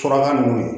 Fura nunnu ye